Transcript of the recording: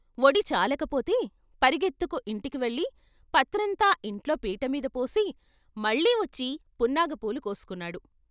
ఒడి చాలకపోతే పరుగెత్తుకు ఇంటికి వెళ్ళి పత్రంతా ఇంట్లో పీట మీద పోసి మళ్ళీ వచ్చి పున్నాగపూలు కోసుకున్నాడు.